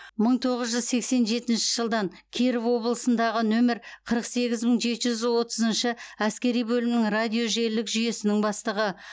мың тоғыз жүз сексен жетінші жылдан киров облысындағы нөмір қырық сегіз мың жеті жүз отызыншы әскери бөлімінің радио желілік жүйесінің бастығы